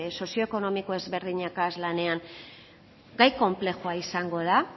sozio ekonomiko ezberdinekin lanean gai konplexua izango da